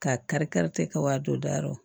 Ka kari kariti kɛ o ka don daw